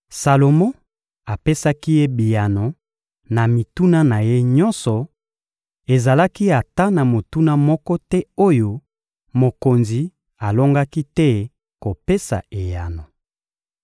Salomo apesaki ye biyano na mituna na ye nyonso, ezalaki ata na motuna moko te oyo mokonzi alongaki te kopesa eyano.